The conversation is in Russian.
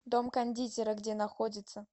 дом кондитера где находится